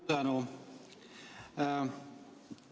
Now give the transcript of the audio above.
Suur tänu!